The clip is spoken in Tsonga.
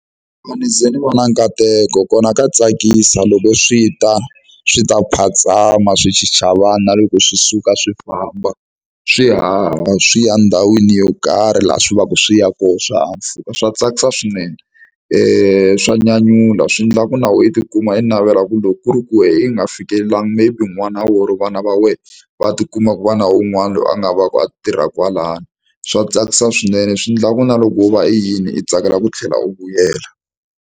Ni ze ni vona nkateko kona ka tsakisa loko swi ta swi ta phatsama swi chicha vanhu na loko swi suka swi famba swi haha swi ya ndhawini yo karhi laha swi vaka swi ya koho swihahampfhuka swa tsakisa swinene i swa nyanyula swi endla ku na wena i tikuma i navela ku loko ku ri ku wena i nga fikelelangi maybe n'wana or vana va wena va tikuma va na un'wana loyi a nga va ka a tirha kwalano swa tsakisa swinene swi endlaku na loko wo va i yini i tsakela ku tlhela u vuyela.